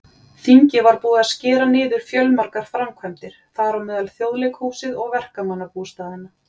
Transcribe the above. Þingið var búið að skera niður fjölmargar framkvæmdir, þar á meðal Þjóðleikhúsið og verkamannabústaðina.